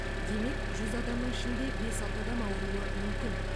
демек жүз адамның ішінде бес алты адам ауруы мүмкін